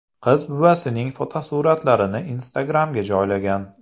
Qiz buvasining fotosuratlarini Instagram’ga joylagan.